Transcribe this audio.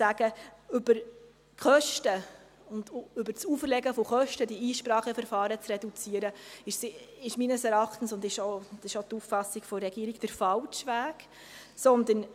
Über das Auferlegen von Kosten diese Einspracheverfahren zu reduzieren, ist meines Erachtens und nach Auffassung der Regierung der falsche Weg.